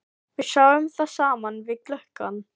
Við sjáum það saman við gluggann.